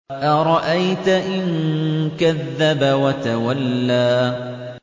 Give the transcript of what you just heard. أَرَأَيْتَ إِن كَذَّبَ وَتَوَلَّىٰ